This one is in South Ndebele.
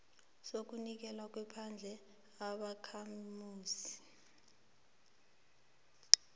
sokunikelwa kwephandle ubakhamuzi